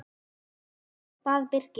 bað Birkir.